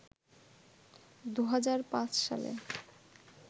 ২০০৫ সালে